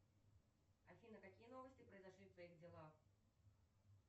афина какие новости произошли в твоих делах